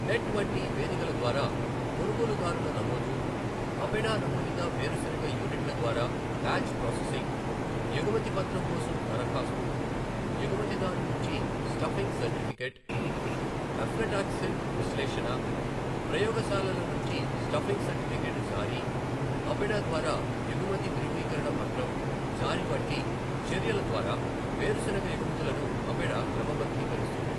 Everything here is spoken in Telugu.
నెట్ వంటి వేదికల ద్వారా కొనుగోలుదారుల నమోదు, అపెడా నమోదిత వేరుశనగ యూనిట్ల ద్వారా బ్యాచ్ ప్రాసెసింగ్, ఎగుమతి పత్రం కోసం దరఖాస్తు, ఎగుమతిదారు నుంచి స్టఫింగ్ సర్టిఫికెట్, అఫ్లాటాక్సిన్ విశ్లేషణ, ప్రయోగశాలల నుంచి స్టఫింగ్ సర్టిఫికెట్ జారీ, అపెడా ద్వారా ఎగుమతి ధృవీకరణ పత్రం జారీ వంటి చర్యల ద్వారా వేరుశనగ ఎగుమతులను అపెడా క్రమబద్ధీకరిస్తుంది.